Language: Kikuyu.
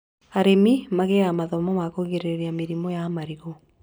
Arĩmi magĩaga mathomo ma kũgirĩrĩria mĩrimũ ya marigũ